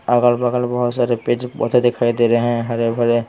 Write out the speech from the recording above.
अगल-बगल बहुत सारे पेड़ बहुत सारे दिखाई दे रहे हैं हरे भरे--